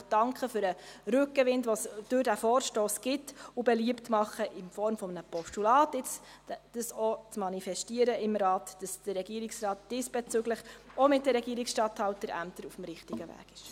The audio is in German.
Ich möchte danken für den Rückenwind, den es durch diesen Vorstoss gibt, und beliebt machen, dies im Rahmen eines Postulats im Rat zu manifestieren, damit der Regierungsrat diesbezüglich auch mit den Regierungsstatthalterämtern auf dem richtigen Weg ist.